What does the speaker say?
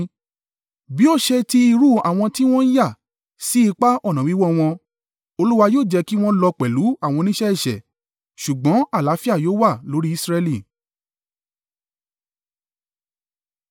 Bí ó ṣe ti irú àwọn tí wọn yà sí ipa ọ̀nà wíwọ́ wọn; Olúwa yóò jẹ́ kí wọn lọ pẹ̀lú àwọn oníṣẹ́ ẹ̀ṣẹ̀. Ṣùgbọ́n àlàáfíà yóò wà lórí Israẹli.